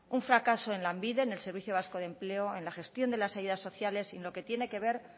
un fracaso en lanbide en el servicio vasco de empleo en la gestión de las ayudas sociales sino en lo que tiene que ver